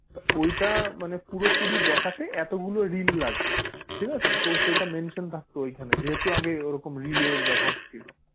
ওইটা মানে পুরোপুরি দেখাতে এতগুলো রিল লাগবে ঠিক আছে? তো সেটা mention থাকতো ওইখানে যেহেতু আগে ওরকম রিলের ব্যবহার ছিল।